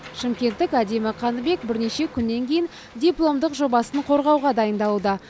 шымкенттік әдемі қаныбек бірнеше күннен кейін дипломдық жобасын қорғауға дайындалуда